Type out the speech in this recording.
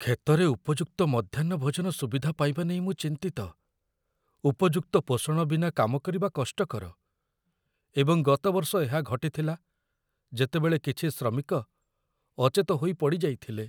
କ୍ଷେତରେ ଉପଯୁକ୍ତ ମଧ୍ୟାହ୍ନ ଭୋଜନ ସୁବିଧା ପାଇବା ନେଇ ମୁଁ ଚିନ୍ତିତ। ଉପଯୁକ୍ତ ପୋଷଣ ବିନା କାମ କରିବା କଷ୍ଟକର, ଏବଂ ଗତ ବର୍ଷ ଏହା ଘଟିଥିଲା ଯେତେବେଳେ କିଛି ଶ୍ରମିକ ଅଚେତ ହୋଇ ପଡ଼ିଯାଇଥିଲେ।